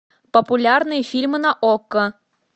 популярные фильмы на окко